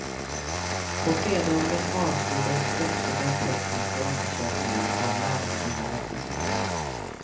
På fredagen avslutades också den tekniska undersökningen av larmanordningen.